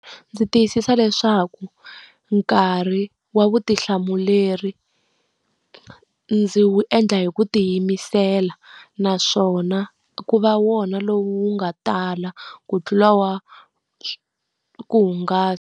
Ndzi tiyisisa leswaku nkarhi wa vutihlamuleri ndzi wu endla hi ku tiyimisela, naswona ku va wona lowu nga tala ku tlula wa ku hungasa.